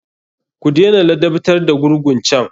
Ku dena ladabtar da gurgun can!